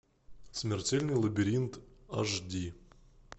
смертельный лабиринт аш ди